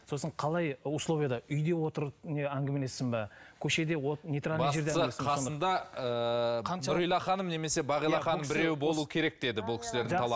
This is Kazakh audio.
сосын қалай условияда үйде отырып не әңгімелессін бе көшеде бастысы нұрила ханым немесе бағила ханым біреуі болуы керек деді бұл кісілердің